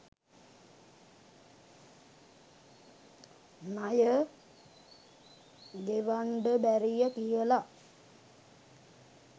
ණය ගෙවංඩ බැරිය කියලා